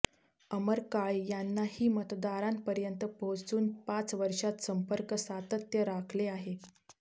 अमर काळे यांनीही मतदारांपर्यंत पोहोचून पाच वर्षांत संपर्क सातत्य राखले आहे